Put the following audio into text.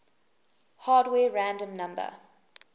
hardware random number